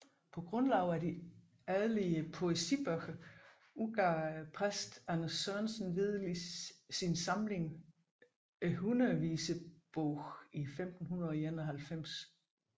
På grundlag af de adelige poesibøger udgav præsten Anders Sørensen Vedel sin samling Hundredvisebogen i 1591